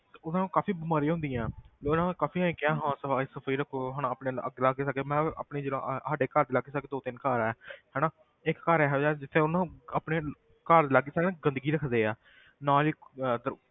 ਤੇ ਉਹਨਾਂ ਨੂੰ ਕਾਫ਼ੀ ਬਿਮਾਰੀ ਹੁੰਦੀਆਂ ਤੇ ਉਹਨਾਂ ਨੇ ਕਾਫ਼ੀ ਇਉਂ ਕਿਹਾ ਹਾਂ ਸਫ਼ਾਈ ਸਫ਼ੂਈ ਰੱਖੋ ਹਨਾ ਆਪਣੇ ਲਾ~ ਲਾਗੇ ਸਾਗੇ ਮੈਂ ਆਪਣੇ ਜਿੱਦਾਂ ਅਹ ਸਾਡੇ ਘਰ ਦੇ ਲਾਗੇ ਸਾਗੇ ਦੋ ਤਿੰਨ ਘਰ ਹੈ ਹਨਾ ਇੱਕ ਘਰ ਇਹੋ ਜਿਹਾ ਜਿੱਥੇ ਉਹਨੂੰ ਆਪਣੇ ਘਰ ਦੇ ਲਾਗੇ ਸਾਗੇ ਨਾ ਗੰਦਗੀ ਰੱਖਦੇ ਹੈ ਨਾਲ ਹੀ